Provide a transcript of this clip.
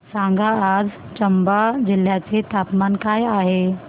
सांगा आज चंबा जिल्ह्याचे तापमान काय आहे